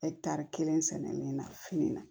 kelen sɛgɛn min na fini na